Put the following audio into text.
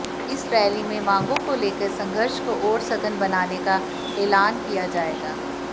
इस रैली में मांगों को लेकर संघर्ष को और सघन बनाने का ऐलान किया जायेगा